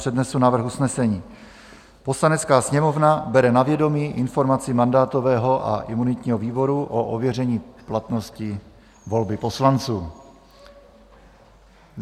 Přednesu návrh usnesení: "Poslanecká sněmovna bere na vědomí informaci mandátového a imunitního výboru o ověření platnosti volby poslanců."